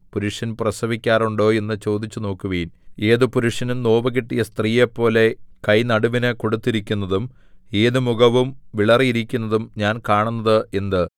പുരുഷൻ പ്രസവിക്കാറുണ്ടോ എന്ന് ചോദിച്ചുനോക്കുവിൻ ഏതു പുരുഷനും നോവുകിട്ടിയ സ്ത്രീയെപ്പോലെ കൈ നടുവിനു കൊടുത്തിരിക്കുന്നതും ഏതു മുഖവും വിളറിയിരിക്കുന്നതും ഞാൻ കാണുന്നത് എന്ത്